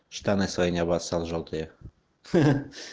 штаны свои не обоссал жёлтые